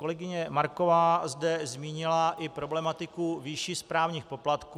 Kolegyně Marková zde zmínila i problematiku výše správních poplatků.